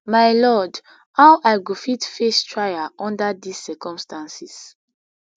my lord how i go fit face trial under dis circumstances